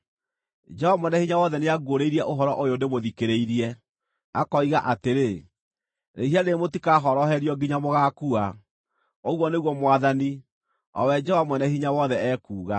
Jehova Mwene-Hinya-Wothe nĩanguũrĩirie ũhoro ũyũ ndĩmũthikĩrĩirie, akoiga atĩrĩ, “Rĩĩhia rĩrĩ mũtikahoroherio nginya mũgaakua,” ũguo nĩguo Mwathani, o we Jehova Mwene-Hinya-Wothe, ekuuga.